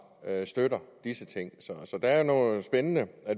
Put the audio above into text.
støtter disse ting så der er noget spændende